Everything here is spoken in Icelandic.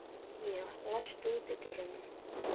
Evfemía, læstu útidyrunum.